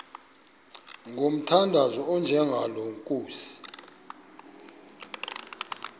ngomthandazo onjengalo nkosi